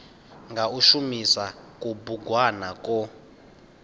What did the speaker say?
nga u shumisa kubugwana kwo